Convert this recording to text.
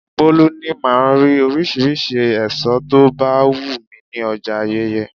Bolu ní máa rí oríṣiríṣi èso tó bá wù mí ní ọjà Ayeye.